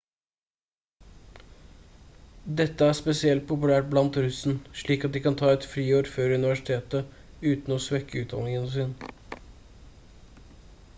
dette er spesielt populært blant russen slik at de kan ta et friår før universitetet uten å svekke utdanningen sin